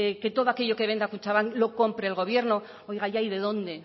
que todo aquello que venda kutxabank lo compre el gobierno oiga ya y de dónde